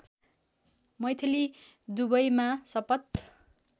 मैथिली दुबैमा शपथ